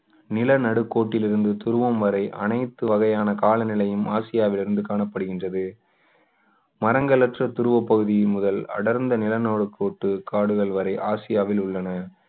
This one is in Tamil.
நிலநடுக்கோட்டில் இருந்து துருவம் வரை அனைத்து வகையான காலநிலையும் ஆசியாவில் இருந்து காணப்படுகின்றது மரங்கள் அற்ற துருவப் பகுதி முதல் அடர்ந்த நிலநடுக்கோட்டு காடுகள் வரை ஆசியாவில் உள்ளன